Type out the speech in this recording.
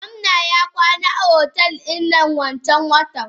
Gomna ya kwana a otel dinnan wanncan watan.